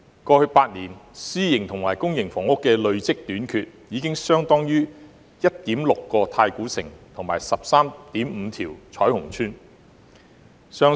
過去8年公私營房屋的累積短缺，相當於 1.6 個太古城及 13.5 個彩虹邨。